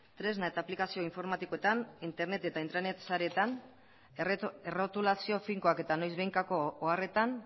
tresna eta aplikazio informatikoetan internet eta intranet sareetan errotulazio finkoak eta noizbehinkako oharretan